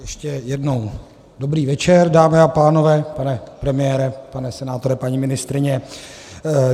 Ještě jednou dobrý večer, dámy a pánové, pane premiére, pane senátore, paní ministryně.